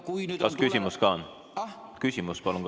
Kas küsimus ka on?